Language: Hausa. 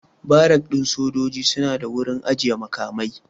Barak ɗin sojoji suna da wurin ajiyan makamai